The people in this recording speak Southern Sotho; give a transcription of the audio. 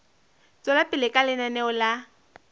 tswela pele ka lenaneo la